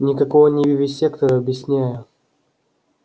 никакой он не вивисектор объясняю